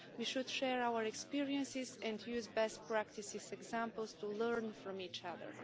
We should share our experiences and use best practices examples to learn from each other.